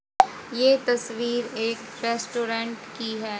ये तस्वीर एक रेस्टोरेंट की है।